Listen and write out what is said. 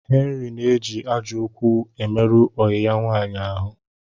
Henry na eji ajo okwu emeru oyi ya nwaanyi ahu